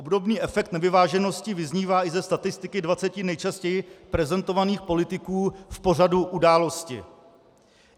Obdobný efekt nevyváženosti vyznívá i ze statistiky 20 nejčastěji prezentovaných politiků v pořadu Události.